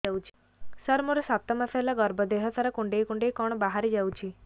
ସାର ମୋର ସାତ ମାସ ହେଲା ଗର୍ଭ ଦେହ ସାରା କୁଂଡେଇ କୁଂଡେଇ କଣ ବାହାରି ଯାଉଛି